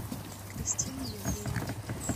кристиной евгеньевной